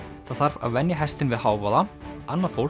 það þarf að venja hestinn við hávaða annað fólk